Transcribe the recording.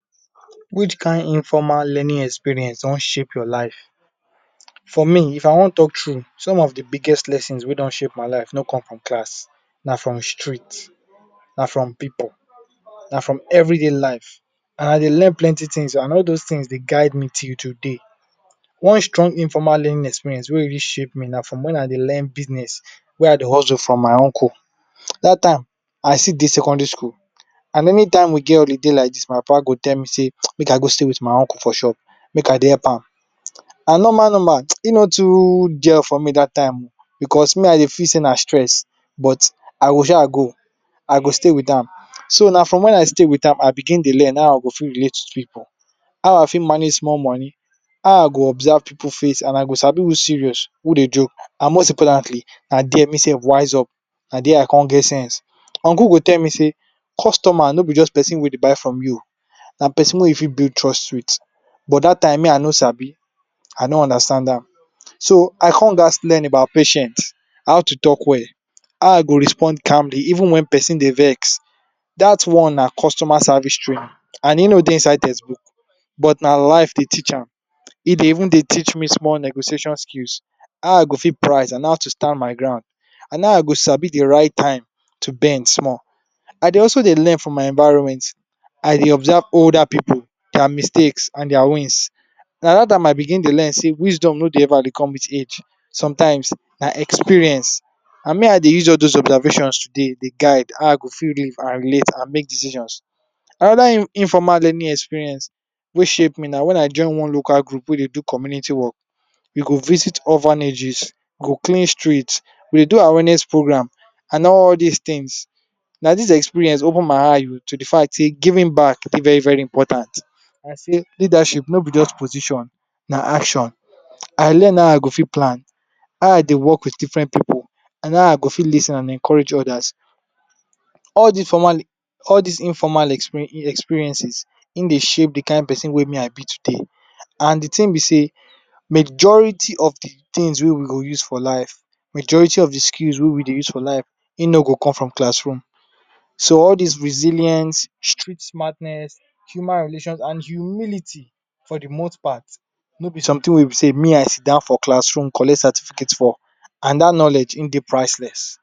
Which kind informal learning Experience shape your life? For me if I wan talk true some of de biggest lessons wey dey my life no come from class na from street na from pipu na from everyday life, and I dey learn plenty things o, and all those things dey guide me till today, one strong informal learning experience wey really shape me na from wen I dey learn business wey I dey hustle from my uncle dat time I still dey secondary school and anytime we get holiday like dis my papa go tell me sey make I go stay with my uncle for shop make I dey help am and normal normal hin no too gel for me dat time oh because me I dey feel sey na stress, but I go shaa go I go stay with am, so na from wen I stay with am I begin dey learn how I go relate with pipu how I fit manage small money, how I go observe pipu face and I go sabi who serious who dey joke and most importantly na there me sef wise up, na there I con get sense, uncle go tell me sey customer no be jus person wey go buy from u, na person wey u fit bulid trust with but dat time me I no sabi, I no understand am, so I con gatz learn about patience, how to talk well how I go respond calmly even wen persin dey vex, dat one na customer service training and hin no dey inside textbook but na life dey teach am, e dey even teach me small negotiation skills how I go fit price and how I to stand my ground and how I go sabi de right time to bend small, I dey also dey learn from my environment, I dey observe older pipu, dia mistakes and dia wins, na dat time I begin dey learn sey wisdom no dey come with age sometimes na experience and me I dey use all those observations today dey guide how I go fit live and make decisions. Another informal learning experience wey shape me na wen I join one local group wey dey do community work, we go visit orphanages, go clean street, we dey do awareness program and all dis thing na dis experience open my eyes to de fact sey giving back dey very very important and sey leadership no be just position na action I learn how I go fit plan how I dey work with different pipu and how I go fit lis ten and encourage odas all dis formal all dis informal experiences hin dey shape de kind person wey me I be today, and de thing be sey majority of de things wey we go use for life, majority of de skills wey we dey use for life hin no go come from classroom so all dis resilience street madness, human relation and humility for de most part no b something wey be sey me I siddon for classroom collect certificate for and dat knowledge hin dey priceless.